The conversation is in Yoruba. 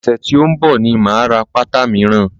Ọ̀sẹ̀ tí ó ń bọ̀ ni máa ra pátá míràn.